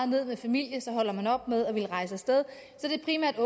ned med familie så holder op med at ville rejse af sted så det er primært